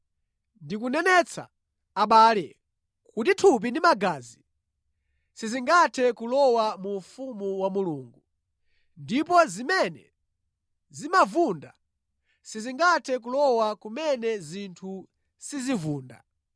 Ndikunenetsa, abale, kuti thupi ndi magazi sizingathe kulowa mu ufumu wa Mulungu, ndipo zimene zimavunda sizingathe kulowa kumene zinthu sizivunda.